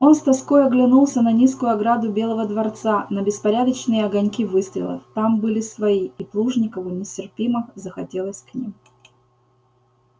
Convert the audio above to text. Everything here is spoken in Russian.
он с тоской оглянулся на низкую ограду белого дворца на беспорядочные огоньки выстрелов там были свои и плужникову нестерпимо захотелось к ним